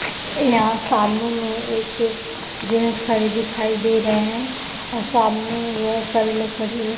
यहाँ सामने में एक जेंट्स खड़े दिखाई दे रहे है और सामने में बहुत सारी लकड़ी --